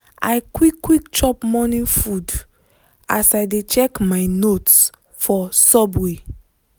i quick quick chop morning food as i dey check my notes for subway.